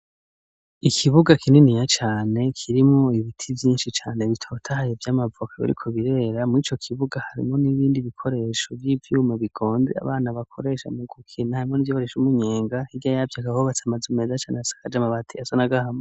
Ikibuga kininiya cane kirimo ibiti vyinshi cane bitotahaye ivy'amavokab ariku bireera mw ico kibuga harimo n'ibindi bikoresho vy'ivyuma bigonze abana bakoresha mu gukina harimo n'ivyobaresha umunyenga higa yavyo agahobatsa amazimu meza cane asakaje amabatiy aso nagahama.